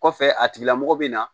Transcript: Kɔfɛ a tigila mɔgɔ bɛ na